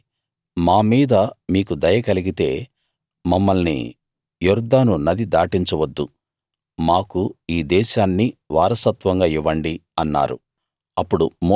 కాబట్టి మా మీద మీకు దయ కలిగితే మమ్మల్ని యొర్దాను నది దాటించవద్దు మాకు ఈ దేశాన్ని వారసత్వంగా ఇవ్వండి అన్నారు